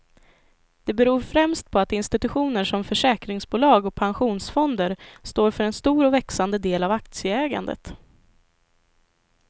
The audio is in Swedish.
Det beror främst på att institutioner som försäkringsbolag och pensionsfonder står för en stor och växande del av aktieägandet.